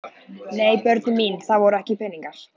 Nei börnin mín, það voru ekki peningar.